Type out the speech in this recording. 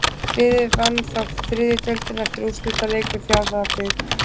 Liðið vann þá þriðju deildina eftir úrslitaleik við Fjarðabyggð.